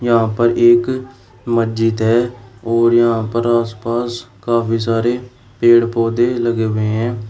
यहां पर एक मस्जिद है और यहां पर आसपास काफी सारे पेड़ पौधे लगे हुए हैं।